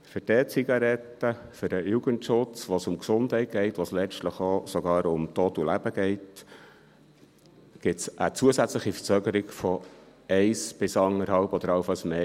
Für die E-Zigaretten, für den Jugendschutz, wo es um die Gesundheit geht, wo es letztlich sogar auch um Tod und Leben geht, käme es zu einer zusätzlichen Verzögerung von einem bis anderthalb Jahren oder allenfalls mehr.